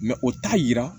o t'a yira